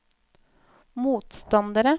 motstandere